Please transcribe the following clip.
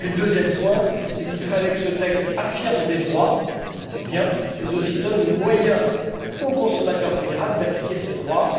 Et puis, le deuxième point, c'est qu'il fallait que ce texte affirme des droits, certes, mais aussi qu'il donne le moyen au consommateur vulnérable d'appliquer ces droits.